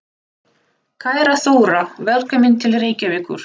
Kæra Þóra. Velkomin til Reykjavíkur.